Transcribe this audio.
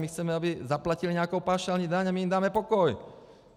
My chceme, aby zaplatili nějakou paušální daň a my jim dáme pokoj!